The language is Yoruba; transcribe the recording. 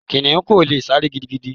Kìnnìún kò lè sáré gidigidi.